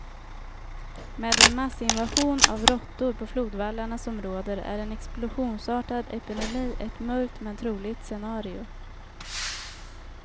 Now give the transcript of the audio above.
Med den massinvasion av råttor på flodvallarna som råder är en explosionsartad epidemi ett mörkt, men troligt scenario.